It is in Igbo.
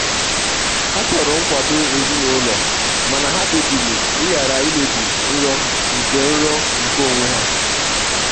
ha chọrọ nkwado ezinụlọ mana ha kpebiri ịghara imebi nrọ nke onwe nrọ nke onwe ha.